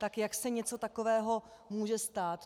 Tak jak se něco takového může stát?